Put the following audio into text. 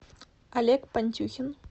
олег пантюхин